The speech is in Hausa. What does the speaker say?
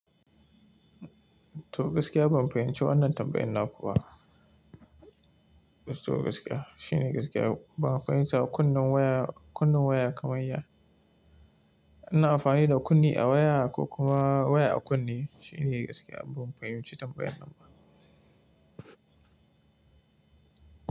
To gaskiya ban fahimci wannan tambayan naku ba. To gaskiya shine gaskiya ban fahimta ba. Kunnan waya, kunnan waya kaman ya. Ina amfani da kunni a waya ko kuma waya a kunni shine gaskiya ban fahimci tambayar nan ba.